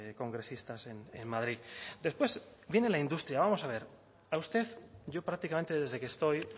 congresistas en madrid después viene la industria vamos a ver a usted yo prácticamente desde que estoy